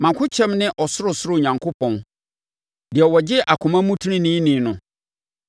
Mʼakokyɛm ne Ɔsorosoro Onyankopɔn deɛ ɔgye akoma mu teneneeni no.